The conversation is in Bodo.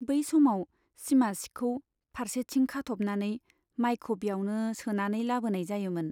बै समाव सिमा सिखौ फार्सेथिं खाथ'बनानै माइखौ ब्यावनो सोनानै लाबोनाय जायोमोन।